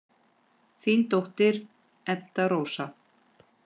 Þín dóttir, Edda Rósa.